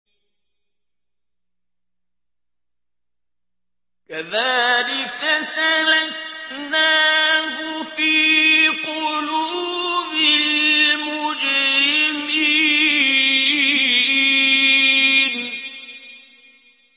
كَذَٰلِكَ سَلَكْنَاهُ فِي قُلُوبِ الْمُجْرِمِينَ